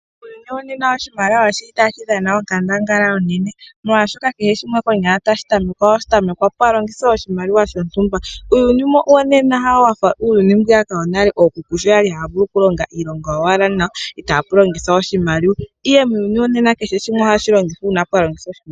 Muuyuni wo nena oshimaliwa oshili tashi dhana oonkandangala onene molwashoka kehe shimwe konyala tashi tamekwapo, ohashi tamekwa, pwa longitha oshimaliwa shontumba. Uuyuni wonena ina wufa uuyuni mbwiyaka wonale, okuku sho kwali haya vulu oku longa wala nawa itapu longithwa oshimaliwa ihe muuyuni wo nena kehe shimwe oha shilongo uuna pwalongithwa oshimaliwa.